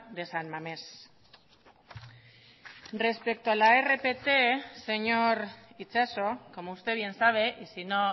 de san mamés respecto a la rpt señor itxaso como usted bien sabe y sino